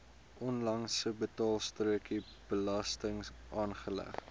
onlangse betaalstrokie belastingaanslag